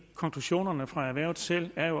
konklusionerne fra erhvervet selv er